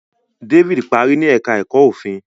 David parí ní èka èko òfin.